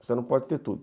Você não pode ter tudo.